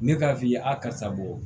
Ne k'a f'i ye a karisa bɔ